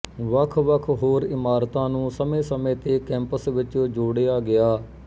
ਵੱਖਵੱਖ ਹੋਰ ਇਮਾਰਤਾਂ ਨੂੰ ਸਮੇਂਸਮੇਂ ਤੇ ਕੈਂਪਸ ਵਿਚ ਜੋੜਿਆ ਗਿਆ